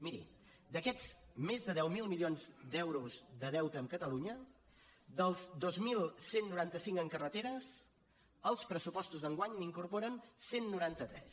miri d’aquests més de deu mil milions d’euros de deute amb catalunya dels dos mil cent i noranta cinc en carreteres els pressupostos d’enguany n’incorporen cent i noranta tres